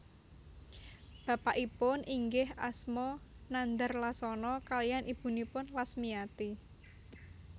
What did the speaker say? Bapakipun inggih asma Nandar Lasono kaliyan ibunipun Lasmiyati